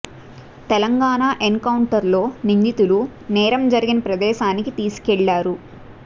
Telangana encounter లో నిందితులు నేరం జరిగిన ప్రదేశానికి తీసుకెళ్లారు